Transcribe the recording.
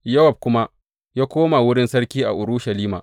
Yowab kuma ya koma wurin sarki a Urushalima.